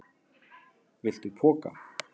Viltu poka?